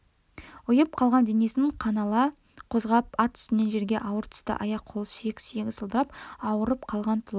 ұйып қалған денесін қинала қозғап ат үстінен жерге ауыр түсті аяқ-қолы сүйек-сүйегі салдырап ауырып қалған тұла